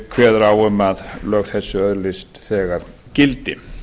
kveður á um að lög þessi öðlist þegar gildi